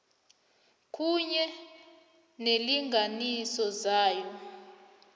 kunye neenlinganiso zayo